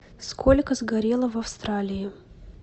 сколько сгорело в австралии